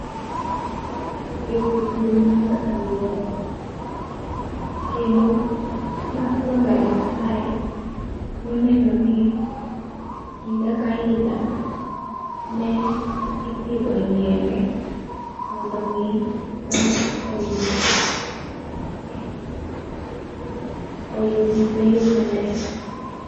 Ee kidieny mar aluor kendo ma Wangari Maathae ne oneno ni higa ka higa ne ipidho yiende mondo mi dhano oyud ee oyud yweyo maler.